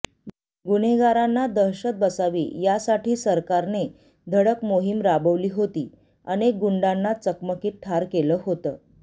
गुन्हेगारांना दहशत बसावी यासाठी सरकाने धडक मोहिम राबवली होती अनेक गुंडांना चकमकीत ठार केलं होतं